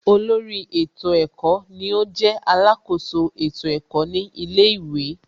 Olórí ètò ẹ̀kọ́ ni ó jẹ́ alákoso ètò ẹ̀kọ́ ní ilé ìwé